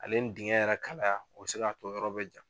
Ale ni dingɛn yɛrɛ kalaya o be se k'a to yɔrɔ be ja